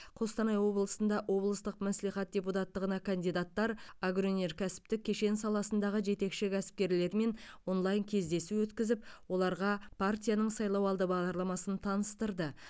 қостанай облысында облыстық мәслихат депутаттығына кандидаттар агроөнеркәсіптік кешен саласындағы жетекші кәсіпкерлермен онлайн кездесу өткізіп оларға партияның сайлауалды бағдарламасын таныстырды